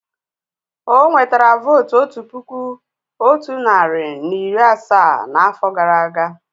O nwetara vóótú otu puku otu narị na iri asaa n'afọ gara aga